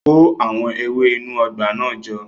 Kó àwọn ewé inú ọgbà náà jọ